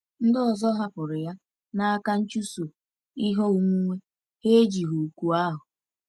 Ndị ọzọ hapụrụ ya n’aka nchụso ihe onwunwe, ha ejighị òkù ahụ.